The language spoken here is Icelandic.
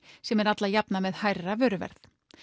sem er alla jafna með hærra vöruverð